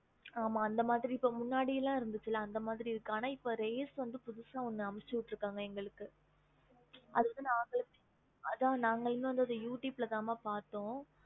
okey mam புதுசா